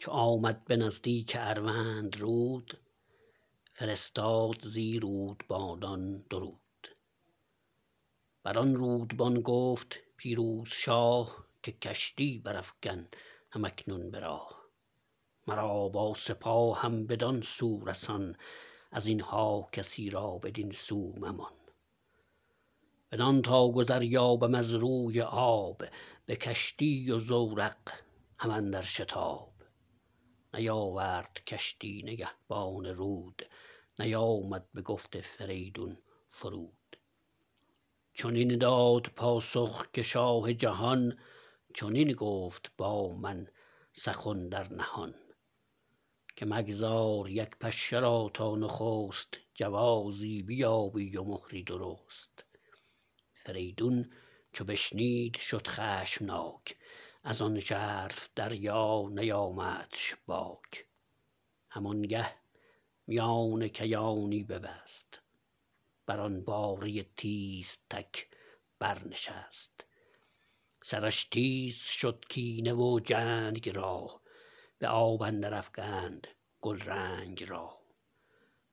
چو آمد به نزدیک اروندرود فرستاد زی رودبانان درود بران رودبان گفت پیروز شاه که کشتی برافگن هم اکنون به راه مرا با سپاهم بدان سو رسان از اینها کسی را بدین سو ممان بدان تا گذر یابم از روی آب به کشتی و زورق هم اندر شتاب نیاورد کشتی نگهبان رود نیامد بگفت فریدون فرود چنین داد پاسخ که شاه جهان چنین گفت با من سخن در نهان که مگذار یک پشه را تا نخست جوازی بیابی و مهری درست فریدون چو بشنید شد خشمناک ازان ژرف دریا نیامدش باک هم آنگه میان کیانی ببست بران باره تیزتک بر نشست سرش تیز شد کینه و جنگ را به آب اندر افگند گلرنگ